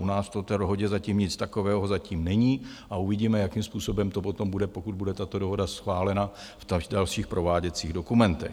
U nás v té dohodě zatím nic takového není a uvidíme, jakým způsobem to potom bude, pokud bude tato dohoda schválena, v dalších prováděcích dokumentech.